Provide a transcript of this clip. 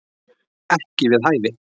Ekki við hæfi